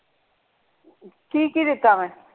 ਕੀ ਕੀ ਦਿੱਤਾ ਮੈਂ।